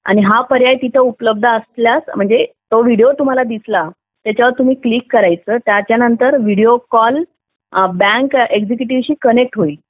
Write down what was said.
आणि हा पर्याय तिथे उपलब्ध असल्यास म्हणजे तो व्हिडिओ तुम्हाला दिसला त्याच्यावर तुम्ही क्लिक करायचं त्यानंतर व्हिडिओ कॉल बँक एक्झिक्युटिव्ह शी कनेक्ट होईल